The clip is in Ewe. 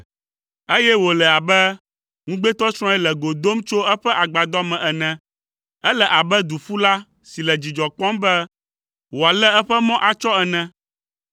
eye wòle abe ŋugbetɔsrɔ̃e le go dom tso eƒe agbadɔ me ene. Ele abe duƒula si le dzidzɔ kpɔm be wòalé eƒe mɔ atsɔ ene.